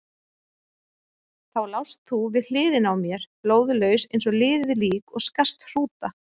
Þá lást þú við hliðina á mér, blóðlaus eins og liðið lík og skarst hrúta.